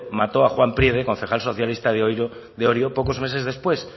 mató a juan priede concejal socialista de orio pocos meses después